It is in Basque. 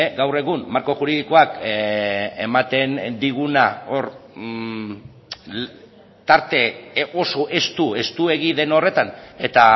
gaur egun marko juridikoak ematen diguna hor tarte oso estu estuegi den horretan eta